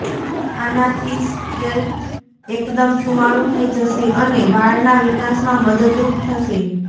આનાથી સ્કૅલ્પ એકદમ સુંવાળું થઈ જશે અને વાળના વિકાસમાં મદદરૂપ થશે